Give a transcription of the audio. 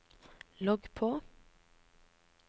logg på